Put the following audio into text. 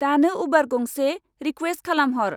दानो उबार गंसे रिक्वेस्ट खालाम हर।